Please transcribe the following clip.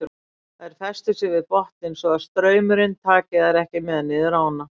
Þær festa sig við botninn svo að straumurinn taki þær ekki með niður ána.